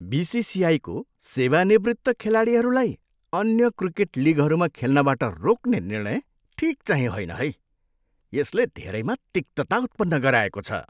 बिसिसिआईको सेवानिवृत्त खेलाडीहरूलाई अन्य क्रिकेट लिगहरूमा खेल्नबाट रोक्ने निर्णय ठिकचाहिँ होइन है। यसले धेरैमा तिक्तता उत्पन्न गराएको छ।